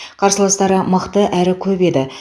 қарсыластары мықты әрі көп еді